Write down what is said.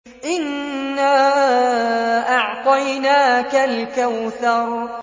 إِنَّا أَعْطَيْنَاكَ الْكَوْثَرَ